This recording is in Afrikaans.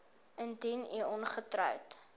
indien u ongetroud